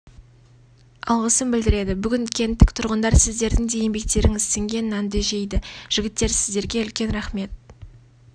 алғысын білдіреді бүгін кенттік тұрғындар сіздердің де еңбектеріңіз сіңген нанды жейді жігіттер сіздерге үлкен рахмет